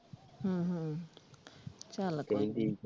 ਹਮ ਹਮ ਚੱਲ ਕੋਈ .